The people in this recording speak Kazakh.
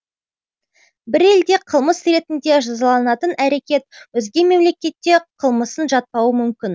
бір елде қылмыс ретінде жазаланатын әрекет өзге мемлекетте қылмысын жатпауы мүмкін